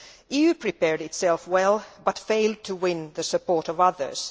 The EU prepared itself well but failed to win the support of others.